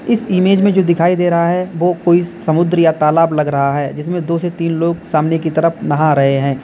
इस इमेज में जो दिखाई दे रहा है वो कोई समुद्र या तालाब लग रहा है जिसमे दो से तीन लोग सामने की तरफ नहा रहे हैं।